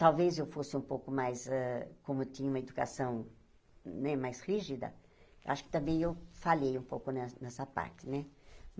Talvez eu fosse um pouco mais eh... Como eu tinha uma educação né mais rígida, acho que também eu falhei um pouco ne nessa parte, né?